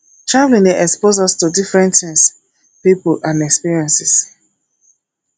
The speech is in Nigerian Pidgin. travelling dey expose us to different things pipo and experiences